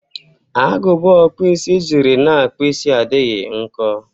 Agụba ọkpụisi jiri na-akpụ isi adịghị nko.